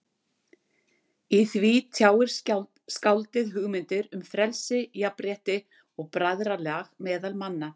Í því tjáir skáldið hugmyndir um frelsi, jafnrétti og bræðralag meðal manna.